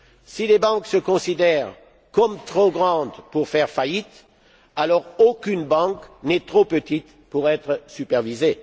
Si les banques se considèrent comme trop grandes pour faire faillite, alors aucune banque n'est trop petite pour être supervisée.